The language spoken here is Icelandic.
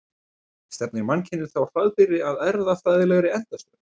Stefnir mannkynið þá hraðbyri að erfðafræðilegri endastöð?